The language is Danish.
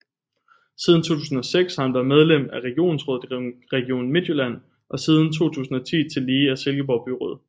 Siden 2006 har han været medlem af regionsrådet i Region Midtjylland og siden 2010 tillige af Silkeborg Byråd